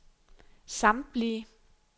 samtlige